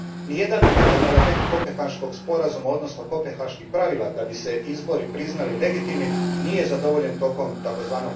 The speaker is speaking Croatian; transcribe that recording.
Niti jedan bitan element Kopenhaškog sporazuma, odnosno kopenhaških pravila da bi se izbori priznali legitimnima, nije zadovoljen tijekom tzv.